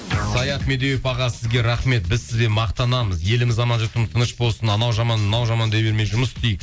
саят медеуов аға сізге рахмет біз сізбен мақтанамыз еліміз аман жұртымыз тыныш болсын анау жаман мынау жаман дей бермей жұмыс істейік